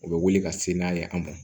U bɛ wuli ka se n'a ye an ma